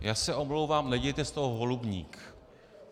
Já se omlouvám, nedělejte z toho holubník.